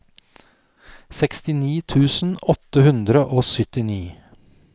sekstini tusen åtte hundre og syttini